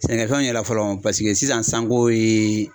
Sɛnɛkɛfɛnw yɛrɛ fɔlɔ paseke sisan san ko ye